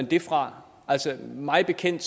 det fra mig bekendt